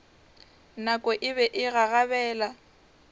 nako e be e gagabela